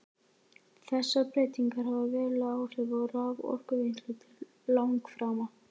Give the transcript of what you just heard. Þessar breytingar hafa veruleg áhrif á raforkuvinnslu til langframa.